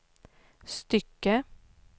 stycke